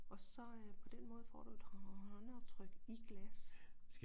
Og så øh på den måde får du et håndaftryk i glas